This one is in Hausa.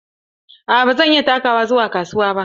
Aa ba zan iya takawa zuwa kasuwa ba.